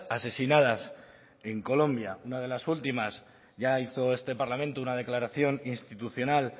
asesinadas en colombia una de las últimas ya hizo este parlamento una declaración institucional